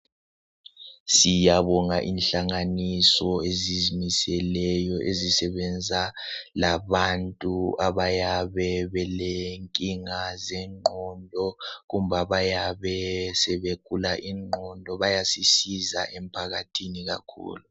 Siyabonga inhlanganiso ezizimiseleyo ezisebenza labantu abayabe belenkinga zengqondo kumbe abayabe sebegula ingqondo, bayasisiza emphakathini kakhulu.